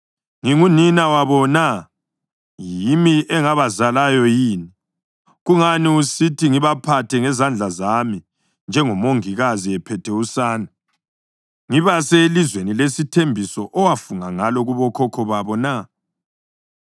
Ngingunina wabo na? Yimi engabazalayo yini? Kungani usithi ngibaphathe ngezandla zami njengomongikazi ephethe usane, ngibase elizweni lesithembiso owafunga ngalo kubokhokho babo na?